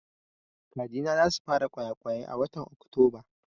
Kaji na za su fara ƙwayaƙwai a watan Oktoba